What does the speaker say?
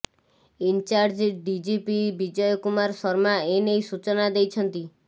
in charge DGP Vijay Kumar Sharma ଏନେଇ ସୂଚନା ଦେଇଛନ୍ତି